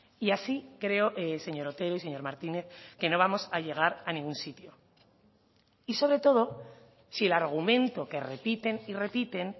y así creo señor otero y señor martínez que no vamos a llegar a ningún sitio y sobre todo si el argumento que repiten y repiten